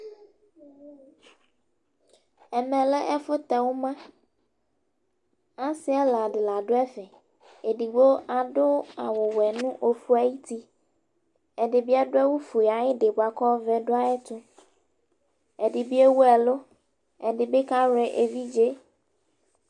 Ɛmɛ lɛ ɛfʋtɛ ʋma Asɩ ɛla dɩ la dʋ ɛfɛ Edigbo adʋ awʋwɛ nʋ ofue ayuti Ɛdɩ bɩ adʋ awʋfue ayɩdɩ bʋa kʋ ɔvɛ dʋ ayɛtʋ Ɛdɩ bɩ ewu ɛlʋ, ɛdɩ bɩ kalʋɩɛ evidze yɛ